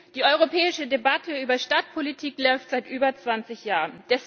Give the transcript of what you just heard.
Die europäische Debatte über Stadtpolitik läuft seit über 20 Jahren.